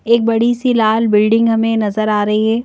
एक बड़ी सी लाल बिल्डिंग हमें नजर आ रही है।